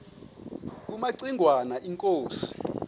kumaci ngwana inkosi